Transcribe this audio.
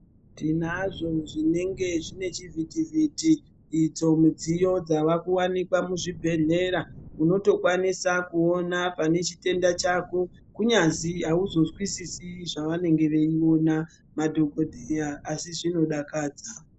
Tinazvo zvinenge zvine chivhiti vhiti idzo midziyo dzava ku wanikwa mu zvibhedhlera tinoto kwanisa kuona pane chitenda chako kunyazi auzo zwisisi zva vanenge vei ona madhokodheya asi zvino dakadza.